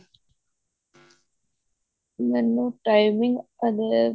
ਮੈਨੂੰ timing ਹਲੇ